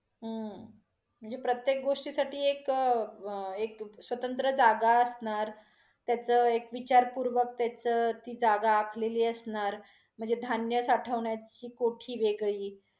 हम्म म्हणजे प्रत्येक गोष्टी साठी एक अं एक स्वतंत्र जागा असणार, त्याच एक विचारपुर्वक त्याच ती जागा आखलेली असणार, म्हणजे धान्य साठवण्याची कोठी वेगळी.